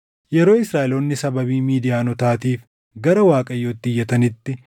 Yeroo Israaʼeloonni sababii Midiyaanotaatiif gara Waaqayyootti iyyatanitti,